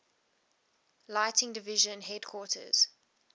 lighting division headquarters